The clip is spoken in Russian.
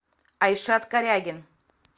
айшат корягин